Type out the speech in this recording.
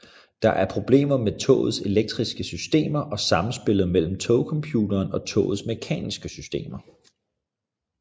Der er problemer med togets elektriske systemer og samspillet mellem togcomputeren og togets mekaniske systemer